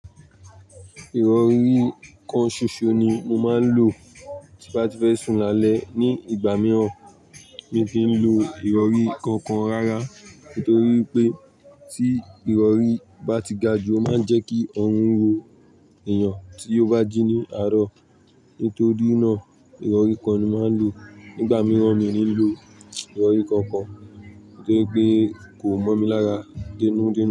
Ìrọ̀rí kan ṣoṣo ni mo máa ń lò tí bá ti fẹ́ sún alẹ́. Ni ìgbà mìíràn, mi ò kin lo ìrọ̀rí kankan rárá. Nítorí pé tí ìrọ̀rí bá ti ga jù, ó máa ń jẹ́ kí ọrùn ro èèyàn tí ó bá jí ní àárọ̀. Nítorí náà, ìrọ̀rí kan ni máa ń lò. Nígbà mìíràn, mi ò ní lò ìrọ̀rí kankan, torí pé kò mọ́ mi lára denu-denu.